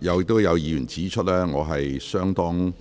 有委員已指出，我已相當